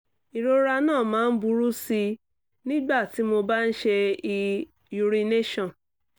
ìrora náà máa ń burú sí i nígbà tí mo bá ń ṣe ì urination